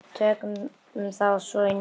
Tökum þá svo í nefið!